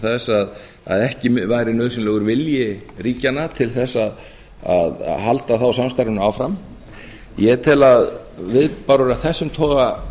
þess að ekki væri nauðsynlegur vilji ríkjanna til þess að halda þá samstarfinu áfram ég tel að viðbárur af þessum toga